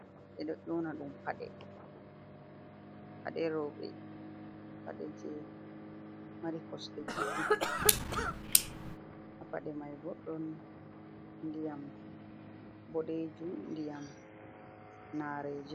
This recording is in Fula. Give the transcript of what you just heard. Ɓe ɗo yona ɗum pade. Paɗe roɓe pade je mari kosɗe ɗe juɗɗum ha paɗe mai bo ɗon ndiyam boɗejum, ndiyam narejim.